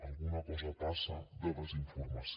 alguna cosa passa de desinformació